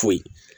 Foyi